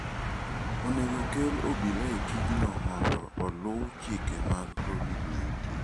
Onego okel obila e tijno mondo oluw chike mag Covid-19.